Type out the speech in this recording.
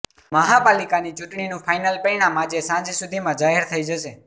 મહાપાલિકાની ચૂંટણીનું ફાઇનલ પરિણામ આજે સાંજ સુધીમાં જાહેર થઇ જશે